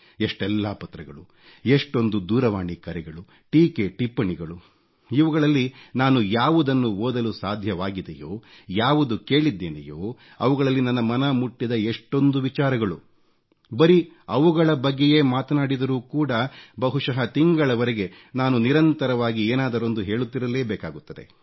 ಎಷ್ಟೆಲ್ಲಾ ಪತ್ರಗಳು ಎಷ್ಟೊಂದು ದೂರವಾಣಿ ಕರೆಗಳು ಟೀಕೆ ಟಿಪ್ಪಣಿಗಳು ಇವುಗಳಲ್ಲಿ ನಾನು ಯಾವುದನ್ನು ಓದಲು ಸಾಧ್ಯವಾಗಿದೆಯೋ ಯಾವುದು ಕೇಳಿದ್ದೇನೆಯೋ ಅವುಗಳಲ್ಲಿ ನನ್ನ ಮನ ಮುಟ್ಟಿದ ಎಷ್ಟೊಂದು ವಿಚಾರಗಳು ಬರೀ ಅವುಗಳ ಬಗ್ಗೆಯೇ ಮಾತನಾಡಿದರೂ ಕೂಡ ಬಹುಶಃ ತಿಂಗಳವರೆಗೆ ನಾನು ನಿರಂತರವಾಗಿ ಏನಾದರೊಂದು ಹೇಳುತ್ತಿರಲೇ ಬೇಕಾಗುತ್ತದೆ